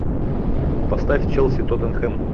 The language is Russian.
поставь челси тоттенхэм